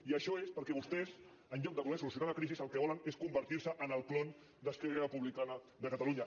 i això és perquè vostès en lloc de voler solucionar la crisi el que volen és convertir se en el clon d’esquerra republicana de catalunya